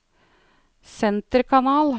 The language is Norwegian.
senterkanal